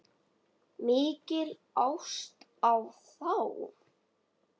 Mikil ást á þá.